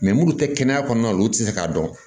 munnu tɛ kɛnɛya kɔnɔna la olu tɛ se k'a dɔn